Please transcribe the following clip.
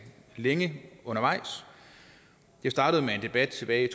længe det startede med en debat tilbage i